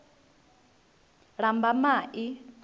lambamai